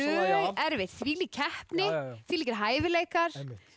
erfitt þvílík keppni þvílíkir hæfileikar